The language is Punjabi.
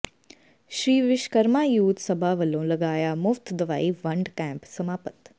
ਸ੍ਰੀ ਵਿਸ਼ਵਕਰਮਾ ਯੂਥ ਸਭਾ ਵਲੋਂ ਲਗਾਇਆ ਮੁਫ਼ਤ ਦਵਾਈ ਵੰਡ ਕੈਂਪ ਸਮਾਪਤ